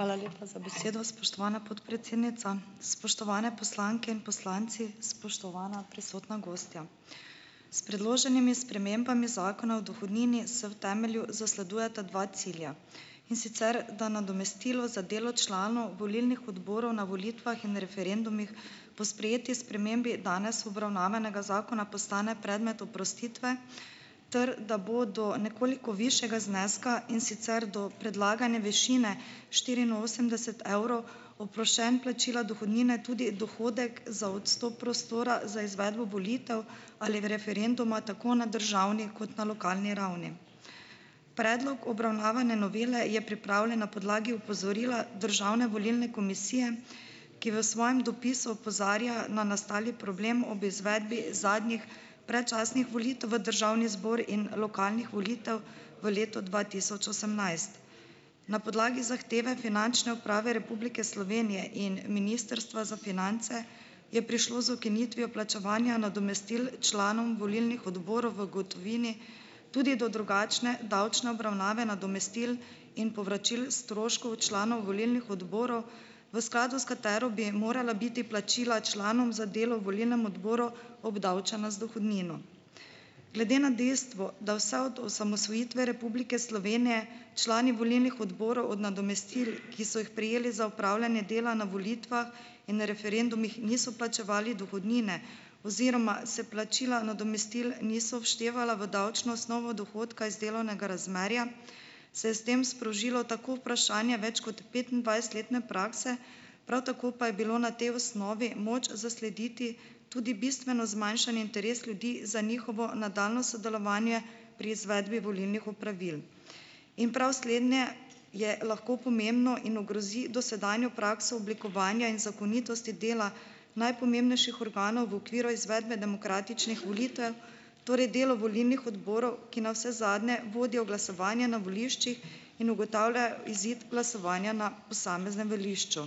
Hvala lepa za besedo, spoštovana podpredsednica. Spoštovane poslanke in poslanci, spoštovana prisotna gostja. S predloženimi spremembami Zakona o dohodnini se v temelju zasledujeta dva cilja. In sicer da nadomestilo za delo članov volilnih odborov na volitvah in referendumih po sprejeti spremembi danes obravnavanega zakona postane predmet oprostitve ter da bo do nekoliko višjega zneska, in sicer do predlagane višine štiriinosemdeset evrov, oproščen plačila dohodnine tudi dohodek za odstop prostora za izvedbo volitev ali referenduma, tako na državni kot na lokalni ravni. Predlog obravnavane novele je pripravljen na podlagi opozorila Državne volilne komisije, ki v svojem dopisu opozarja na nastali problem ob izvedbi zadnjih, predčasnih volitev v državni zbor in lokalnih volitev v letu dva tisoč osemnajst. Na podlagi zahteve Finančne uprave Republike Slovenije in Ministrstva za finance je prišlo z ukinitvijo plačevanja nadomestil članom volilnih odborov v gotovini tudi do drugačne davčne obravnave nadomestil in povračil stroškov članov volilnih odborov, v skladu s katero bi morala biti plačila članom za delo v volilnem odboru obdavčena z dohodnino. Glede na dejstvo, da vse od osamosvojitve Republike Slovenije člani volilnih odborov od nadomestil, ki so jih prejeli za opravljanje dela na volitvah in referendumih, niso plačevali dohodnine oziroma se plačila nadomestil niso vštevala v davčno osnovo dohodka iz delovnega razmerja, se je s tem sprožilo tako vprašanje več kot petindvajsetletne prakse, prav tako pa je bilo na tej osnovi moč zaslediti tudi bistveno zmanjšanje interesa ljudi za njihovo nadaljnje sodelovanje pri izvedbi volilnih opravil. In prav slednje je lahko pomembno in ogrozi dosedanjo prakso oblikovanja in zakonitosti dela najpomembnejših organov, v okviru izvedbe demokratičnih volitev, torej delo volilnih odborov, ki navsezadnje vodijo glasovanje na voliščih in ugotavljajo izid glasovanja na posameznem volišču.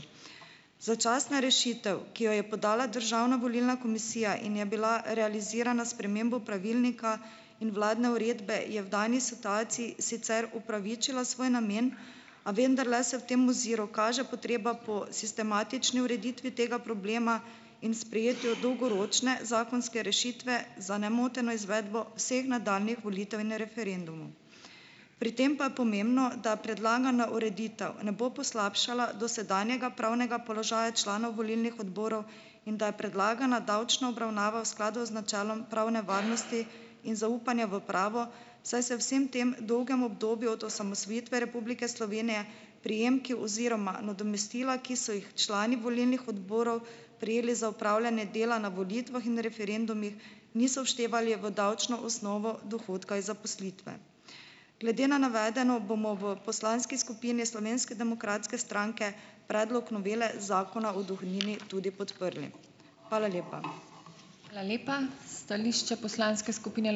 Začasna rešitev, ki jo je podala Državna volilna komisija in je bila realizirana s spremembo pravilnika in vladne uredbe, je v dani situaciji sicer upravičila svoj namen, a vendarle se v tem oziru kaže potreba po sistematični ureditvi tega problema in sprejetju dolgoročne zakonske rešitve za nemoteno izvedbo vseh nadaljnjih volitev in referendumov. Pri tem pa pomembno, da predlagana ureditev ne bo poslabšala dosedanjega pravnega položaja članov volilnih odborov in da je predlagana davčna obravnava v skladu z načelom pravne varnosti in zaupanja v pravo, saj se vsem tem dolgem obdobju od osamosvojitve Republike Slovenije prejemki oziroma nadomestila, ki so jih člani volilnih odborov prejeli za opravljanje dela na volitvah in referendumih, niso vštevali v davčno osnovo dohodka iz zaposlitve. Glede na navedeno bomo v poslanski skupini Slovenske demokratske stranke predlog novele Zakona o dohodnini tudi podprli. Hvala lepa. Hvala lepa. Stališče poslanske skupine ...